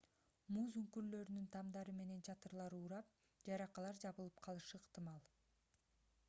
муз үңкүрлөрүнүн тамдары менен чатырлары урап жаракалар жабылып калышы ыктымал